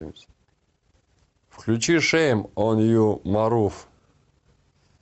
включи шэйм он ю марув